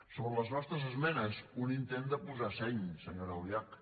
sobre les nostres esmenes un intent de posar seny senyora albiach